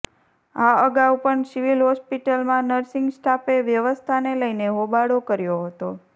આ અગાઉ પણ સિવિલ હોસ્પિટલમાં નર્સિંગ સ્ટાફે વ્યવસ્થાને લઈને હોબાળો કર્યો હતો